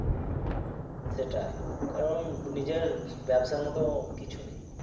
সেটাই কারণ নিজের ব্যবসার মত কিছু নেই